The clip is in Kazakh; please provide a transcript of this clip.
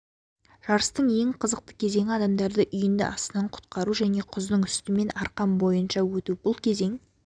жарыстың ең қызықты кезеңі адамдарды үйінді астынан құтқару және құздың үстімен арқан бойынша өту бұл кезең